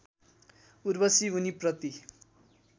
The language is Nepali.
उर्वशी उनीप्रति